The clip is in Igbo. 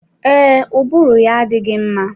Ee, ụbụrụ ya adịghị mma.